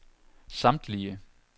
samtlige